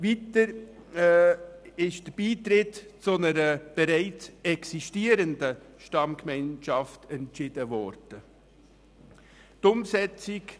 Weiter wurde der Beitritt zu einer bereits existierenden Stammgemeinschaft entschieden.